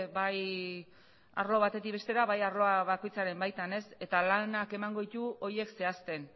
bai arlo batetik bestera bai arloa bakoitzaren baitan eta lanak emango ditu horiek zehazten